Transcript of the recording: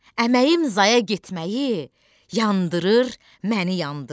Əməyim zaya getməyi yandırır məni, yandırır.